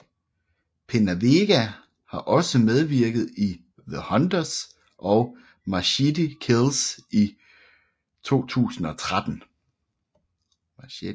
PenaVega har også medvirket i The Hunters og Machete Kills i 2013